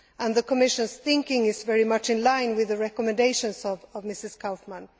The Commission's thinking is very much in line with the recommendations of Mrs Kaufmann.